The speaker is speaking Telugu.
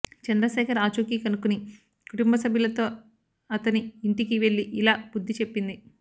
చంద్ర శేఖర్ ఆచూకీ కనుక్కుని కుటుంబ సభ్యులతో అతని ఇంటికి వెళ్ళి ఇలా బుద్ధి చెప్పింది